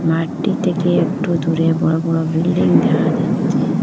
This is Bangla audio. মাঠটি থেকে একটু দূরে বড় বড় বিল্ডিং দেখা যাচ্চে।